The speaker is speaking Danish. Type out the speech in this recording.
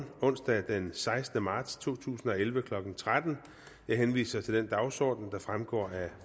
onsdag den sekstende marts to tusind og elleve klokken tretten jeg henviser til den dagsorden der fremgår af